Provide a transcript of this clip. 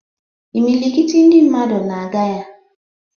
Imilikiti ndị mmadụ na-aga ya.